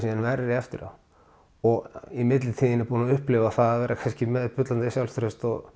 verri eftir á og í millitíðinni búinn upplifa það að vera með bullandi sjálfstraust og